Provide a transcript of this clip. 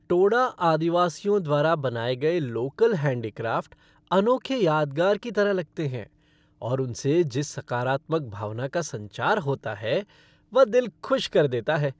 टोडा आदिवासियों द्वारा बनाए गए लोकल हैंडीक्राफ़्ट अनोखे यादगार की तरह लगते हैं और उनसे जिस सकारात्मक भावना का संचार होता है वह दिल खुश कर देता है।